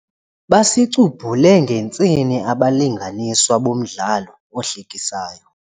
Basicubhule ngentsini abalinganiswa bomdlalo ohlekisayo.